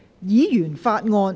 議員法案。